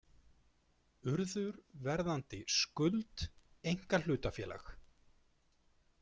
Urður, Verðandi, Skuld einkahlutafélag